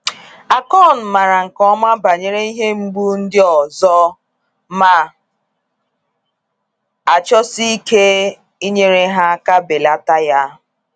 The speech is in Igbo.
Akon maara nke ọma banyere ihe mgbu ndị ọzọ, ma achọọsi ike inyere ha aka belata ya.